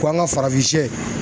Ko an ka farafinsiyɛ.